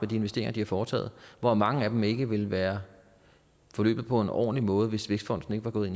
de investeringer de har foretaget hvor mange af dem ikke ville være forløbet på en ordentlig måde hvis vækstfonden ikke var gået